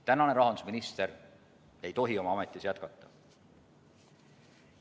Tänane rahandusminister ei tohi oma ametis jätkata.